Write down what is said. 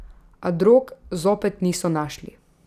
A drog zopet niso našli.